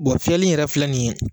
fiyɛli in yɛrɛ filɛ nin ye